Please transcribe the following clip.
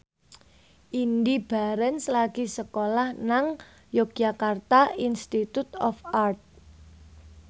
Indy Barens lagi sekolah nang Yogyakarta Institute of Art